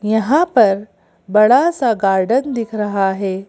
यहां पर बड़ा सा गार्डन दिख रहा है।